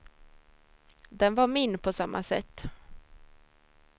Den var min på samma sätt.